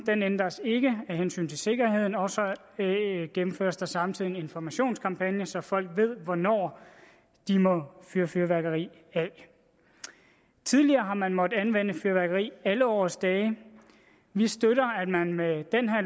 ændres ikke af hensyn til sikkerheden og så gennemføres der samtidig en informationskampagne så folk ved hvornår de må fyre fyrværkeri af tidligere har man måttet anvende fyrværkeri alle årets dage vi støtter